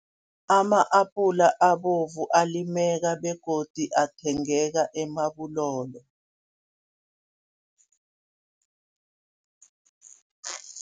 Ama-apula abovu alimeka begodu athengeka eMabulolo.